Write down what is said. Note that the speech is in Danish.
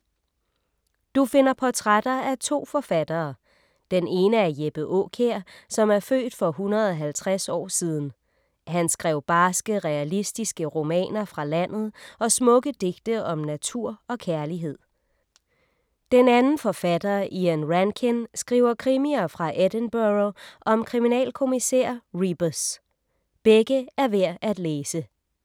Du finder portrætter af to forfattere. Den ene er Jeppe Aakjær, som er født for 150 år siden. Han skrev barske realistiske romaner fra landet og smukke digte om natur og kærlighed. Den anden forfatter, Ian Rankin, skriver krimier fra Edinburgh om kriminalkommissær Rebus. Begge er værd at læse.